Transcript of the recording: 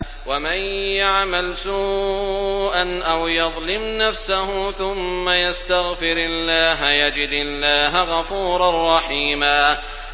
وَمَن يَعْمَلْ سُوءًا أَوْ يَظْلِمْ نَفْسَهُ ثُمَّ يَسْتَغْفِرِ اللَّهَ يَجِدِ اللَّهَ غَفُورًا رَّحِيمًا